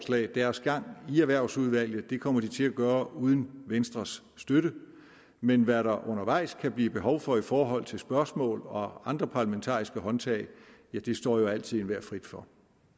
deres gang i erhvervsudvalget og det kommer de til at gøre uden venstres støtte men hvad der undervejs kan blive behov for i forhold til spørgsmål og andre parlamentariske håndtag står jo altid enhver frit for